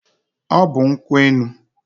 Ọ bụ nkwụ enu.